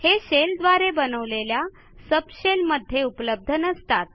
हे शेल द्वारे बनवलेल्या सबशेल मध्ये उपलब्ध नसतात